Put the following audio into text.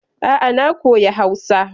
A'a na koya Hausa.